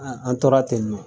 An a tora tɛ nɔ